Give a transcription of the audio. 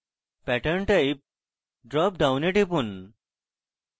pattern type drop ডাউনে টিপুন